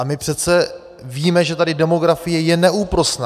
A my přece víme, že tady demografie je neúprosná.